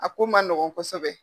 A ko ma nɔgɔn kosɛbɛ.